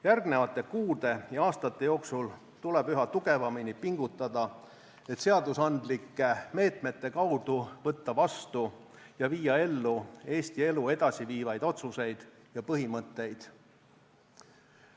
Järgnevate kuude ja aastate jooksul tuleb üha tugevamini pingutada, et seadusandlike meetmete kaudu võtta vastu ja viia ellu Eesti elu edasi viivaid otsuseid ja põhimõtteid.